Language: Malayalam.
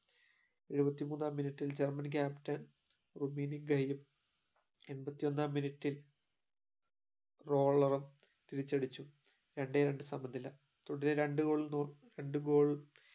എഴുപത്തിമൂന്നാ minute ഇൽ ജർമൻ captain റൂമിനിയാണ് ഗെയിലും എണ്പത്തിയൊന്നാം minute റോളറും തിരിച്ചടിച്ചു രണ്ടേ രണ്ട് സമ നില തുടരെ രണ്ട് goal